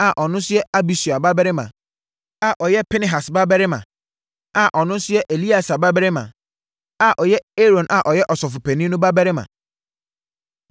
a ɔno yɛ Abisua babarima, a ɔyɛ Pinehas babarima, a ɔno nso yɛ Eleasa babarima, a ɔyɛ Aaron a ɔyɛ ɔsɔfopanin no babarima.